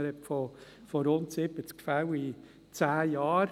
Man spricht von rund 70 Fällen in 10 Jahren.